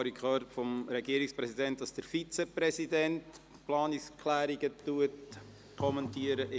Ich habe vom Regierungspräsidenten gehört, dass der Regierungsvizepräsident die Planungserklärungen kommentiert.